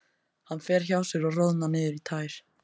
Hann fer hjá sér og roðnar niður í tær.